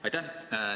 Aitäh!